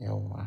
Yauwa.